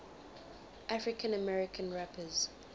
african american rappers